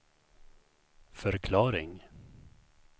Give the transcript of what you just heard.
förklaring